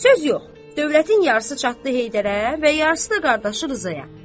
Söz yox, dövlətin yarısı çatdı Heydərə və yarısı da qardaşı Rzaya.